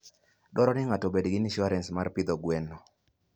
Dwarore ni ng'ato obed gi insurance mar pidho gwen.